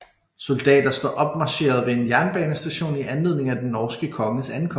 Soldater står opmarcheret ved en jernbanestation i anledning af den norske konges ankomst